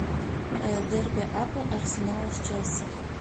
дерби апл арсенала с челси